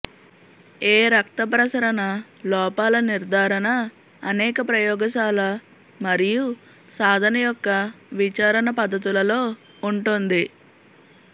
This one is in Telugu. ఏ రక్త ప్రసరణ లోపాల నిర్ధారణ అనేక ప్రయోగశాల మరియు సాధన యొక్క విచారణ పద్ధతులలో ఉంటుంది